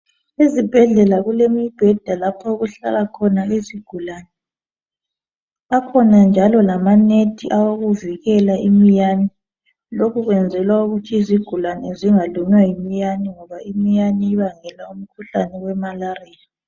Ezibhedlela kulemibheda lapho okuhlala khona izigulane. Akhona njalo lama nethi awokuvikela imiyane. Lokhu kwenzelwa ukuthi izigulane zingalunywa yimiyane ebangela umkhuhlane we malariya